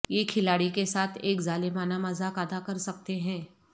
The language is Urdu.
یہ کھلاڑی کے ساتھ ایک ظالمانہ مذاق ادا کر سکتے ہیں